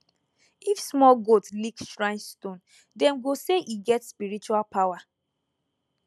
if small goat lick shrine stone dem go say e get spiritual power